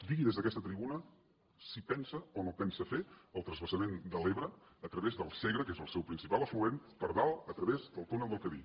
digui des d’aquesta tribuna si pensa o no pensa fer el transvasament de l’ebre a través del segre que és el seu principal afluent per dalt a través el túnel del cadí